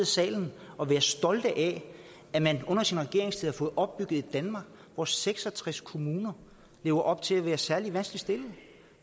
salen og være stolt af at man under sin regeringstid har fået opbygget et danmark hvor seks og tres kommuner lever op til at være særlig vanskeligt stillet